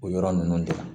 O yɔrɔ ninnu de la